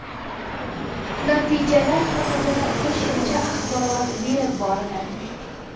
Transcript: Natijalar haqida qo‘shimcha axborot berib boriladi.